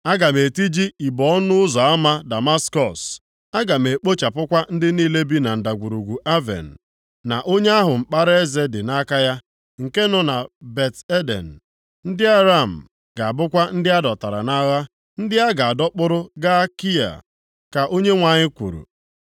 Aga m etiji ibo ọnụ ụzọ ama Damaskọs, aga m ekpochapụkwa ndị niile bi na Ndagwurugwu Aven, na onye ahụ mkpara eze dị nʼaka ya, nke nọ na Bet-Eden. Ndị Aram ga-abụkwa ndị a dọtara nʼagha, ndị a ga-adọkpụrụ gaa Kia.” Ka Onyenwe anyị kwuru.